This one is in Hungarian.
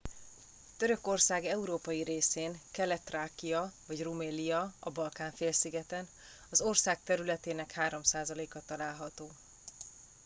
törökország európai részén kelet-thrákia vagy rumelia a balkán-félszigeten az ország területének 3%-a található